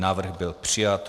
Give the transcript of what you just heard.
Návrh byl přijat.